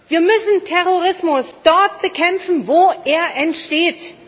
Wir müssen Terrorismus dort bekämpfen, wo er entsteht.